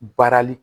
Baarali